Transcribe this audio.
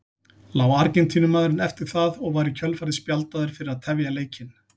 Lá Argentínumaðurinn eftir það og var í kjölfarið spjaldaður fyrir að tefja leikinn.